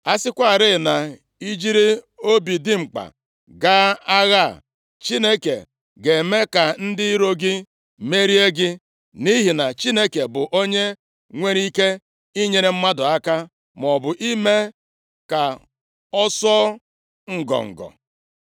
A sịkwarị na i jiri obi dimkpa ga agha a, Chineke ga-eme ka ndị iro gị merie gị, nʼihi na Chineke bụ onye nwere ike inyere mmadụ aka maọbụ ime ka ọ sụọ ngọngọ.”